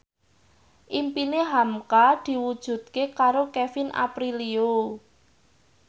impine hamka diwujudke karo Kevin Aprilio